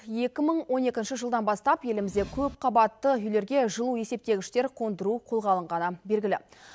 екі мың он екінші жылдан бастап елімізде көпқабатты үйлерге жылу есептегіштер қондыру қолға алынғаны белгілі